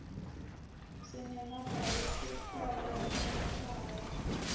sinemabhayaisikhobo emahlaya